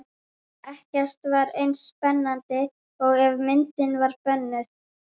Ekkert var eins spennandi og ef myndin var bönnuð.